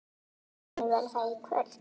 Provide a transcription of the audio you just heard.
Heimir: Verður það í kvöld?